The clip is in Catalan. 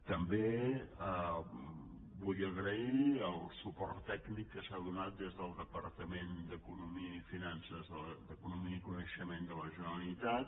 també vull agrair el suport tècnic que s’ha donat des del departament d’economia i coneixement de la generalitat